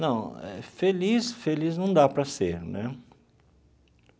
Não, feliz, feliz não dá para ser, né?